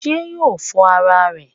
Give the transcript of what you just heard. Sé yóò fọ ara rè?